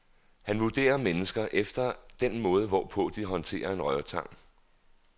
Han vurderer mennesker efter den måde, hvorpå de håndterer en rørtang.